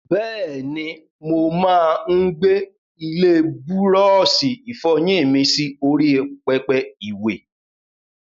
Bẹ́ẹ̀ni, mo máa ń gbé ilé búrọ́ọ̀ṣì ìfọyín mi sí orí pẹpẹ ìwè.